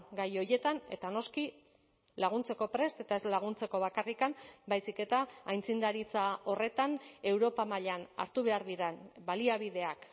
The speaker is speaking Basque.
gai horietan eta noski laguntzeko prest eta ez laguntzeko bakarrik baizik eta aitzindaritza horretan europa mailan hartu behar diren baliabideak